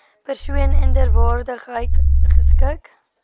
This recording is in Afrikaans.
persoon inderwaarheid geskik